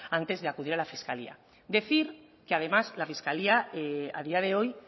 antes de acudir a la fiscalía decir que además la fiscalía a día de hoy